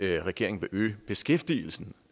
regeringen vil øge beskæftigelsen